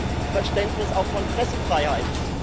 Was ist das für ein Verständnis auch von Pressefreiheit?